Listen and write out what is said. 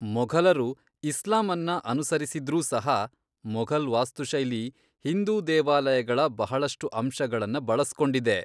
ಮೊಘಲರು ಇಸ್ಲಾಂ ಅನ್ನ ಅನುಸರಿಸಿದ್ರೂ ಸಹ, ಮೊಘಲ್ ವಾಸ್ತುಶೈಲಿ ಹಿಂದೂ ದೇವಾಲಯಗಳ ಬಹಳಷ್ಟು ಅಂಶಗಳನ್ನ ಬಳಸ್ಕೊಂಡಿದೆ.